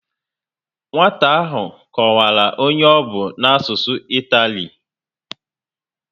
Nwata ahụ kọwara onye ọ bụ a n'asụsụ itali